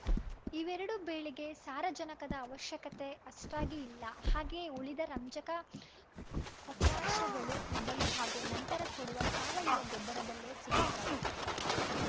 ಇವೆರಡೂ ಬೆಳೆಗೆ ಸಾರಜನಕದ ಅವಶ್ಯಕತೆ ಅಷ್ಟಾಗಿ ಇಲ್ಲ ಹಾಗೆಯೇ ಉಳಿದ ರಂಜಕ ಪೊಟ್ಯಾಷ ಗಳು ಮೊದಲು ಹಾಗೂ ನಂತರ ಕೊಡುವ ಸಾವಯವ ಗೊಬ್ಬರದಲ್ಲೇ ಸಿಗುತ್ತವೆ